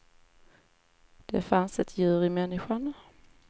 Det fanns ett djur i människan.